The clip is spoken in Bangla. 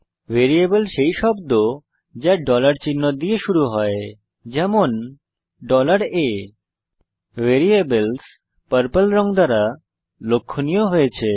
ভ্যারিয়েবল সেই শব্দ যা চিহ্ন দিয়ে শুরু হয় যেমন a ভ্যারিয়েবলস পর্পল রঙ দ্বারা লক্ষনীয় হয়েছে